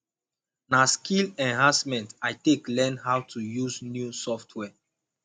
na skill enhancement i take learn how to use new software